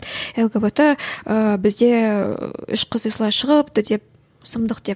лгбт ыыы бізде үш қыз осылай шығыпты деп сұмдық деп